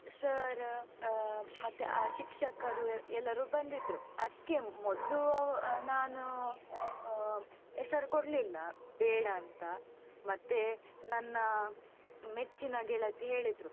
Sir ಆ ಮತ್ತೆ ಶಿಕ್ಷಕರು ಎಲ್ಲರೂ ಬಂದಿದ್ರೂ. ಅದ್ಕೇ ಮೊದ್ಲು ಆ ನಾನು ಆ ಹೆಸರ್ ಕೊಡ್ಲಿಲ್ಲ ಬೇಡ ಅಂತ ಮತ್ತೆ ನನ್ನ ಮೆಚ್ಚಿನ ಗೆಳತಿ ಹೇಳಿದ್ರು.